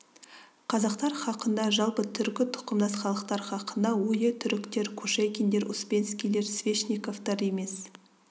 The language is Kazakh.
қазақтар хақында жалпы түркі тұқымдас халықтар хақында ойы түріктер кушекиндер успенскийлер свешниковтар емес